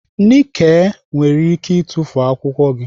Nike nwere ike itufu akwụkwọ gị.